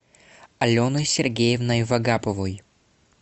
аленой сергеевной вагаповой